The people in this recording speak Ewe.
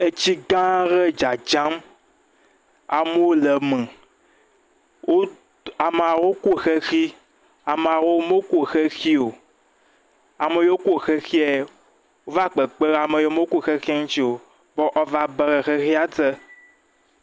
Etsi gã aɖe dzadzam, amewo le eme, wot..amawo ko xexi, amawo moko xexi o, ame yiwo ko xexie, wole kpekpem ɖe ame yiwo moko xexi ŋutsi o, be woava be ɖe xexia te.